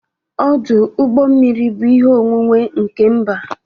Ọdụ ụgbọ mmiri bụ ihe onwunwe nke mba